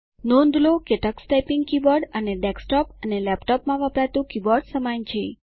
નોંધ લો કે તકસ ટાઈપીંગ કીબોર્ડ અને ડેસ્કટોપ અને લેપટોપમાં વપરાતું કીબોર્ડ સમાન છે